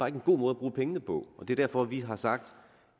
en god måde bruge pengene på og det er derfor vi har sagt